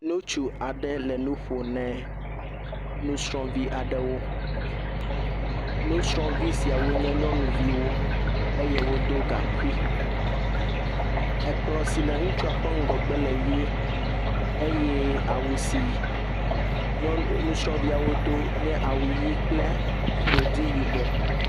Nutsu aɖe le nu ƒo nɛ nusrɔ̃vi aɖewo. Nusrɔ̃vi siawo nye nyɔnuviwo eye wodo gaŋkui. Ekplɔ̃ si le ŋutsua ƒe ŋgɔgbe le ʋie eye awu si nyɔnu, nusrɔ̃viawo do nye awu ʋi kple godi yibɔ.